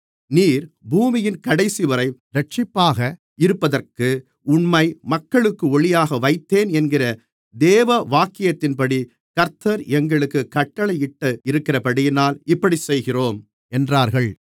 நீர் பூமியின் கடைசிவரை இரட்சிப்பாக இருப்பதற்கு உம்மை மக்களுக்கு ஒளியாக வைத்தேன் என்கிற வேதவாக்கியத்தின்படி கர்த்தர் எங்களுக்குக் கட்டளையிட்டிருக்கிறதினால் இப்படிச் செய்கிறோம் என்றார்கள்